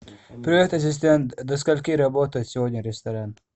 привет ассистент до скольки работает сегодня ресторан